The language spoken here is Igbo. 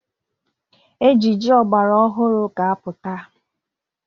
Ejiji ọgbara ọhụrụ ga-apụta.